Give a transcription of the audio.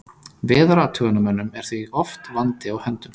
Veðurathugunarmönnum er því oft vandi á höndum.